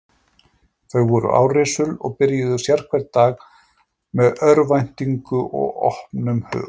Þau voru árrisul og byrjuðu sérhvern dag með eftirvæntingu og opnum hug.